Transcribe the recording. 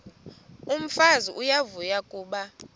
umfazi uyavuya kuba